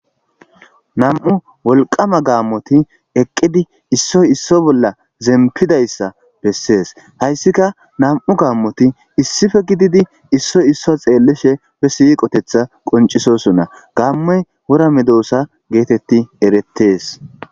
nam7u wolqama gaammoti eqqidi issoy isso bolla zempidayssa bessees hayssika nam7u gaammoti issife gididi issoy isso xeellishe be siiqotetha qoncisosonna gammoy wora medoosa geetetti erettees